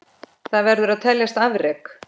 Það verður að teljast afrek.